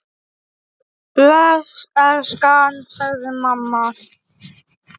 Bless elskan! sagði mamma.